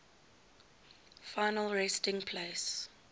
final resting place